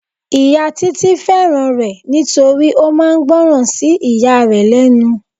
Ìyá Títí fẹ́ràn rẹ nítorí ó máa ń gboran sí ìyá rẹ lẹ́nu.